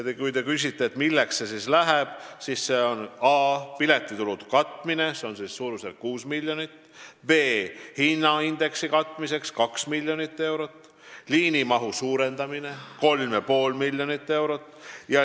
Kui te küsite, milleks see siis läheb, siis see jaguneb nii: a) piletikulude katmine suurusjärgus 6 miljonit, b) hinnaindeksi katmine 2 miljonit ja c) liinimahu suurendamine 3,5 miljonit eurot.